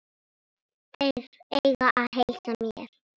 Þeir eiga að heilsa mér.